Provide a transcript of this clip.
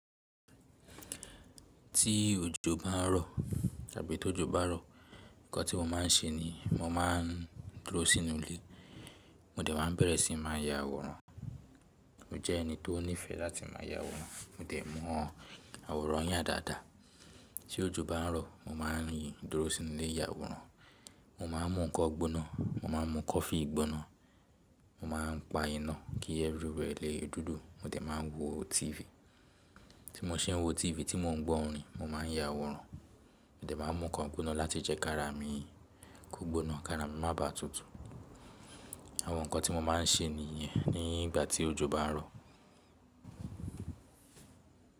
Tí òjò bá ń rọ̀ àbí tó jò bá rọ̀, ǹkan tí mo máa ń ṣe ni mo máa ń dúró sínú ilé. Mo dẹ̀ máa bẹ̀rẹ̀ sí máa ya àwòrán. Mo jẹ́ ẹni tó nífẹ̀ẹ́ láti má ya àwòrán. Mo dẹ̀ mọ àwòrán yà dáadáa. Tí òjò bá ń rọ̀, mo máa ń yí dúró sínú ilé ya àwòrán. Mo máa ń mu ǹkan gbóná, mo máa ń mu kọfíi gbóná, mo máa ń pa iná kí everywhere wẹ̀ lè dúdú. Mo dẹ̀ máa wo TV. Tí mo ṣe ń wo TV, tí mò ń gbọ́ orin, mo máà ń ya àwòrán. Mo dẹ̀ máa mu ǹkan gbóná láti jẹ kára mi kó gbóná, kára mi má ba à tutù. Àwọn ǹkan tí mo máa ń ṣe nìyẹn nígbà tí òjò bá ń rọ̀.